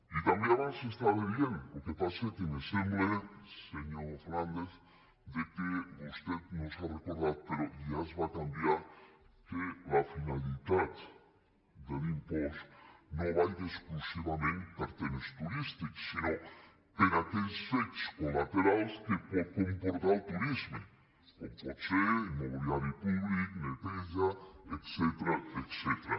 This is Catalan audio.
i també abans s’estava dient el que passa és que me semble senyor fernandez que vostè no se n’ha recordat però ja es va canviar que la finalitat de l’impost no vagi exclusivament per a temes turístics sinó per a aquells fets colcom pot ser el mobiliari públic neteja etcètera